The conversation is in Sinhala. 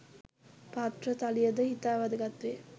පාත්‍ර තලිය ද ඉතා වැදගත් වේ.